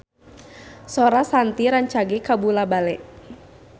Sora Shanti rancage kabula-bale